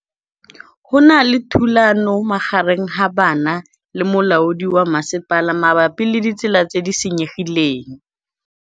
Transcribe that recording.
Go na le thulanô magareng ga banna le molaodi wa masepala mabapi le ditsela tse di senyegileng.